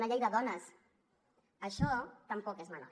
una llei de dones això tampoc és menor